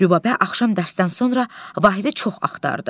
Rübabə axşam dərsdən sonra Vahidi çox axtardı.